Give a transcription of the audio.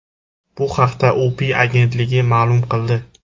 Bu haqda UPI agentligi ma’lum qildi .